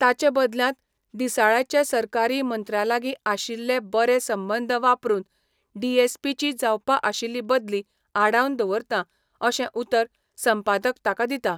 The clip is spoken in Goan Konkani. ताचे बदल्यांत, दिसाळ्याचे सरकारी मंत्र्यालागीं आशिल्ले बरे संबंद वापरून डीएसपीची जावपा आशिल्ली बदली आडावन दवरतां अशें उतर संपादक ताका दिता.